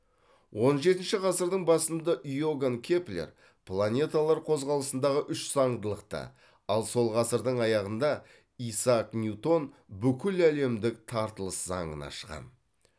он жетінші ғасырдың басында иоганн кеплер планеталар қозғалысындағы үш заңдылықты ал сол ғасырдың аяғында исаак ньютон бүкіләлемдік тартылыс заңын ашқан